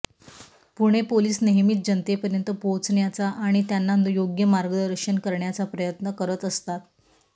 Pune police नेहमीच जनतेपर्यंत पोहोचण्याचा आणि त्यांना योग्य मार्गदर्शन करण्याचा प्रयत्न करत असतात